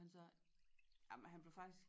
Og han sagde jamen han blev faktisk